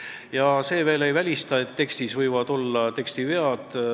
Ja ei ole välistatud, et ka tekstis võib veel vigu olla.